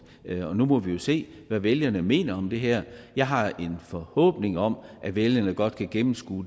nu må vi jo se hvad vælgerne mener om det her jeg har en forhåbning om at vælgerne godt kan gennemskue